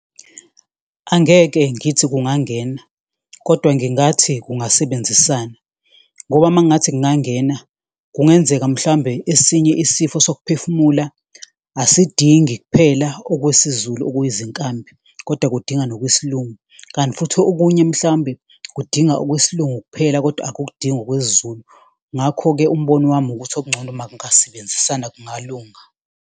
Angeke ngithi kungangena, kodwa ngingathi kungasebenzisana ngoba uma ngathi kungangena kungenzeka, mhlawumbe esinye isifo sokuphefumula asidingi kuphela okwesiZulu okuyizinkambi kodwa kudinga ngokwesiLungu. Kanti futhi okunye mhlawumbe kudinga okwesiLungu kuphela kodwa akukudingi okwesiZulu, ngakho-ke umbono wami ukuthi okungcono uma kungasebenzisana kungalunga.